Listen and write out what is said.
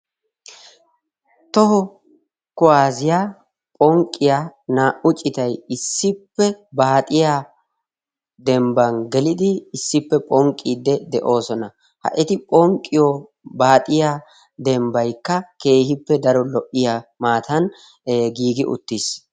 toho kuwaassiyaa phonqqiya naa77u citay issippe baaxiya dembban gelidi issippe phonqqidde de7oosona. ha eti phonqqiyo baaxiya dembbaykka keehippe daro lo77iya maatan giigi uttis.